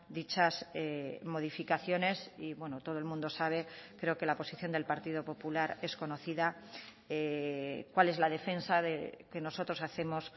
dichas modificaciones y bueno todo el mundo sabe creo que la posición del partido popular es conocida cuál es la defensa que nosotros hacemos